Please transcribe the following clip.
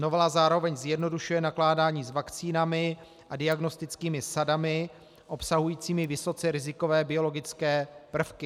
Novela zároveň zjednodušuje nakládání s vakcínami a diagnostickými sadami obsahujícími vysoce rizikové biologické prvky.